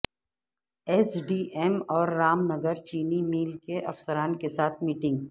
S D M اور رام نگر چینی mill کے افسران کے ساتھ میٹنگ